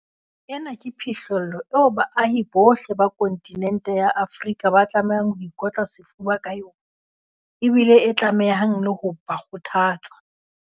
Ena ke phihlello eo baahi bohle ba kontinente ya rona ya Afrika ba tlamehang ho ikotla sefuba ka yona ebile e tlamehang le ho ba kgotha tsa.